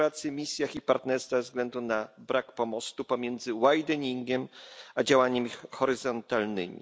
misjach i partnerstwie ze względu na brak pomostu pomiędzy wideningiem a działaniami horyzontalnymi.